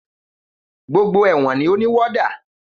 Gbógbó èwọ̀n ní o ní wọ́dà.